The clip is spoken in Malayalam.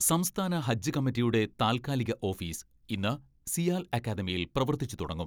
സംസ്ഥാന ഹജ്ജ് കമ്മിറ്റിയുടെ താൽകാലിക ഓഫീസ് ഇന്ന് സിയാൽ അക്കാദമിയിൽ പ്രവർത്തിച്ച് തുടങ്ങും.